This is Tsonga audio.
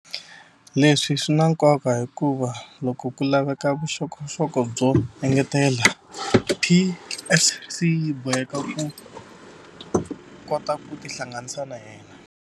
Leswi swi na nkoka hikuva loko ku laveka vuxokoxoko byo engetela, PSC yi boheka ku kota ku tihlanganisa na yena.